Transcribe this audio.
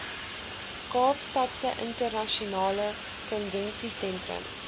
kaapstadse internasionale konvensiesentrum